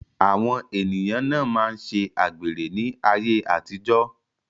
Àwọn ènìyàn na máa ṣe àgbèrè ní ayé àtijó.